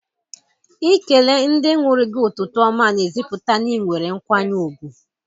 Ikele ndị nwụrụ gị ụtụtụ ọma n'ezipụta n'inwere nkwanye ùgwù.